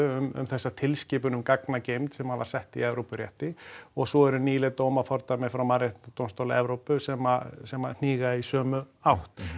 um þessa tilskipun um gagnageymd sem var sett í Evrópurétti og svo eru nýleg dómafordæmi frá mannréttindadómstól Evrópu sem sem að hníga í sömu átt